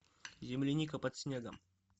земляника под снегом